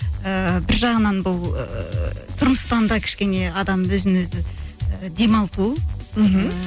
ыыы бір жағынан бұл ыыы тұрмыстан да кішкене адам өзін өзі і демалту мхм